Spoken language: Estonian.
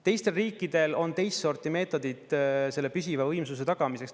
Teistel riikidel on teist sorti meetodid selle püsiva võimsuse tagamiseks.